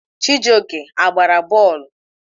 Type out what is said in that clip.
Chijioke a gbara bọọlụ?